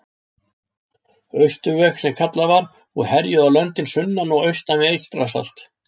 Austurveg, sem kallað var, og herjuðu á löndin sunnan og austan við Eystrasalt.